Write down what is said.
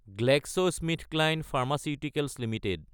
GlaxoSmithKline pharmaceuticals Ltd